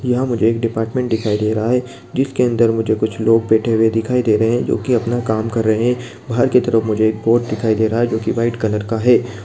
यहां मुझे एक डिपार्टमेंट दिखाई दे रहा है जिसके अन्दर मुझे कुछ लोग बैठे हुए दिखाई दे रहे हैं जो कि अपना काम कर रहे हैं बाहर की तरफ मुझे एक बोर्ड दिखाई दे रहा है जो कि व्हाइट कलर का है।